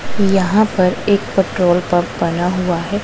यहां पर एक पेट्रोल पंप बना हुआ है।